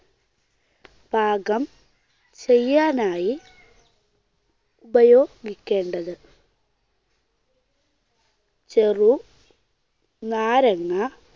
പാകം ചെയ്യാനായി ഉപയോഗിക്കേണ്ടത്. ചെറുനാരങ്ങ